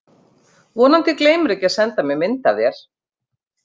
Vonandi gleymirðu ekki að senda mér mynd af þér.